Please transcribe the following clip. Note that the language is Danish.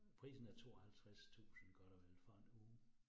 Prisen er 52000 godt og vel for en uge